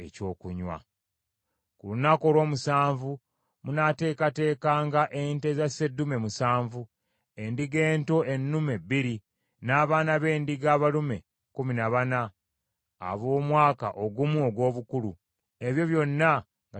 “Ku lunaku olw’omusanvu munaateekateekanga ente za sseddume musanvu, endiga ento ennume bbiri, n’abaana b’endiga abalume kkumi na bana ab’omwaka ogumu ogw’obukulu, ebyo byonna nga tebiriiko kamogo.